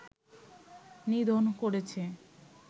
নিধন করেছি